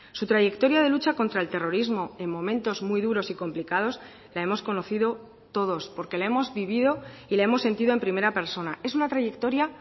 su trayectoria de lucha contra el terrorismo en momentos muy duros y complicados la hemos conocido todos porque la hemos vivido y la hemos sentido en primera persona es una trayectoria